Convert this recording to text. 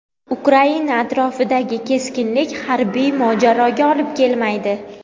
Ukraina atrofidagi keskinlik harbiy mojaroga olib kelmaydi.